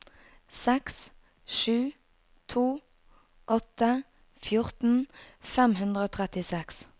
seks sju to åtte fjorten fem hundre og trettiseks